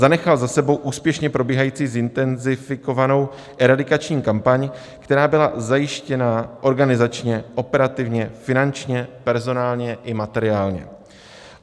Zanechal za sebou úspěšně probíhající zintenzifikovanou eradikační kampaň, která byla zajištěna organizačně, operativně, finančně, personálně i materiálně.